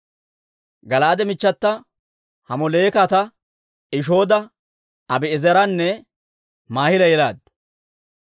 Gala'aade michchata Hamolekeeta Ishooda, Abi'eezeranne Maahila yelaaddu.